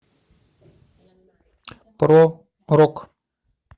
про рок